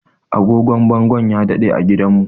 Agogon bangon ya dade a gidanmu